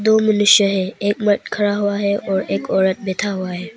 दो मनुष्य है। एक मर्द खड़ा हुआ है और एक औरत बैठा हुआ है।